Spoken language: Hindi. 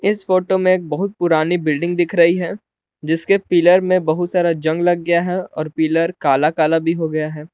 इस फोटो में एक बहुत पुरानी बिल्डिंग दिख रही है जिसके पिलर में बहुत सारा जंग लग गया है और पिलर काला काला भी हो गया है।